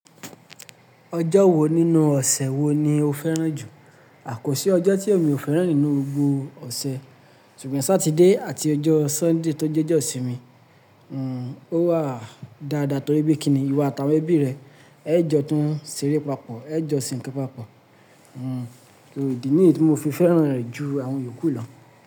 Ọjọ́ wo nínú ọ̀sẹ̀ wo ni o fẹ́ràn jù? Kọ́sí ọjọ́ tí èmi o fẹ́ràn nínú gbogbo ọ̀sẹ̀ ṣùgbọ́n Sátidé àti ọjọ́ Sọ́ndí tó jẹ́jọ́ sí mi, o wà dáadáa torí bí kíni ìwà àtàwọn ẹbí rẹ, ẹ jọ tán ṣeré papọ̀, ẹ jọ ṣìnkú papọ̀. Ìdí nii tí mo fi fẹ́ràn rẹ̀ ju àwọn yòókù lọ?